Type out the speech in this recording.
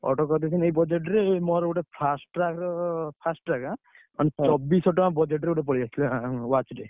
Order କରିଦେଇଥିଲି ଏଇ budget ରେ ମୋର ଗୋଟେ ଆଁ, ଚବିଶିସହ ଟଙ୍କା budget ରେ ଗୋଟେ ପଳେଇଆସିଥିଲା ଆଁ watch ଟେ।